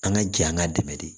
An ka jɛ an k'a dɛmɛ de